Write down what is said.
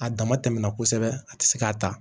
A dama tɛmɛna kosɛbɛ a tɛ se k'a ta